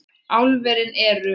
Álverin eru